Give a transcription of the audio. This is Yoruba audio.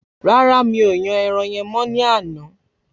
Rárá mi ò yan ẹran yen mọ ní àná